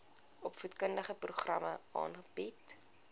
opvoedkundige programme aanbied